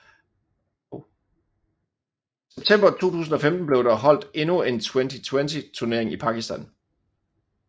I september 2015 blev der holdt endnu en Twenty20 turnering i Pakistan